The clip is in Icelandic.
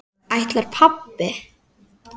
Ætlar pabbi?